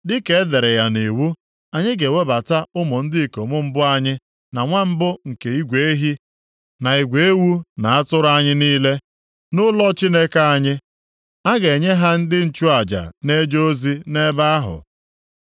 “Dịka e dere ya nʼIwu, anyị ga-ewebata ụmụ ndị ikom mbụ anyị, na nwa mbụ nke igwe ehi, na igwe ewu na atụrụ anyị niile, nʼụlọ Chineke anyị. A ga-enye ha ndị nchụaja na-eje ozi nʼebe ahụ.